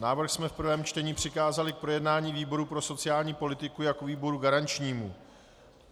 Návrh jsme v prvním čtení přikázali k projednání výboru pro sociální politiku jako výboru garančnímu.